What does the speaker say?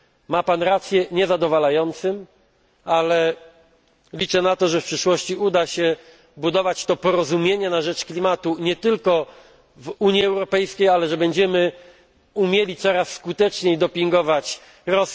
Ma Pan rację, niezadowalającym, ale liczę na to, że w przyszłości uda się budować to porozumienie na rzecz klimatu nie tylko w Unii Europejskiej, ale że będziemy umieli coraz skuteczniej dopingować do tego m. in.